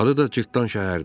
Adı da cırtdan şəhərdir.